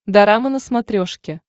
дорама на смотрешке